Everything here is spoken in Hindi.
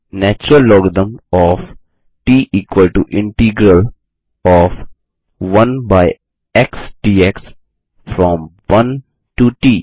natural logarithm of t equal to integral of 1 by x dx from 1 to ट